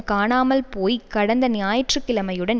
காணாமல் போய் கடந்து ஞாயிற்று கிழமையுடன்